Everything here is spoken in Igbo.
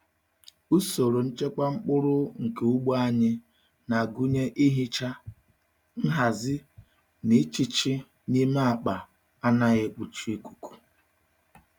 Usoro nchekwa mkpụrụ nke ugbo anyị na-agụnye ihicha, nhazi na ịchichi n'ime akpa anaghị ekpuchi ikuku.